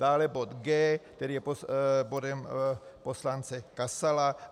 Dále bod G, který je bodem poslance Kasala.